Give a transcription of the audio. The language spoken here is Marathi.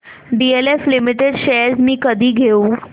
डीएलएफ लिमिटेड शेअर्स मी कधी घेऊ